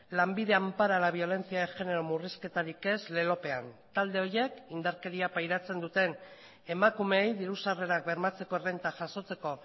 lanbide ampara la violencia de género murrizketarik ez lelopean talde horiek indarkeria pairatzen duten emakumeei diru sarrerak bermatzeko errenta jasotzeko